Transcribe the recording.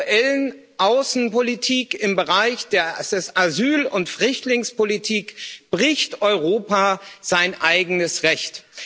Mit der aktuellen Außenpolitik im Bereich der Asyl und Flüchtlingspolitik bricht Europa sein eigenes Recht.